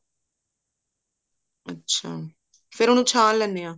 ਅੱਛਾ ਫ਼ੇਰ ਉਹਨੂੰ ਛਾਣ ਲੈਂਦੇ ਹਾਂ